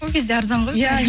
ол кезде арзан ғой